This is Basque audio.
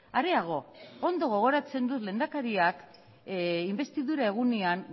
areago ondo gogoratzen dut lehendakariak inbestidura egunean